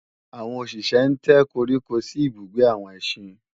àwọn òṣìṣé ń tẹ́ koríko sí ibùgbé àwọn ẹsín